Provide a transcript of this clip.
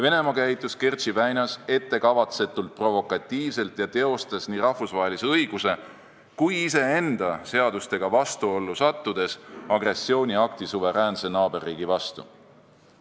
Venemaa käitus Kertši väinas ettekavatsetult provokatiivselt ja teostas nii rahvusvahelise õiguse kui ka iseenda seadustega vastuollu sattudes agressiooniakti suveräänse naaberriigi vastu.